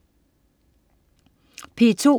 P2: